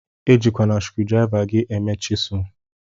Ejikwana skrudriva gi eme chisul.